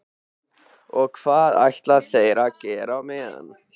Og hvað ætla þeir að gera á meðan?